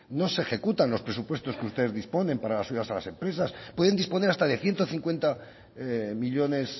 no se ejecutan los presupuestos que ustedes disponen para las ayudas a las empresas pueden disponer hasta de ciento cincuenta millónes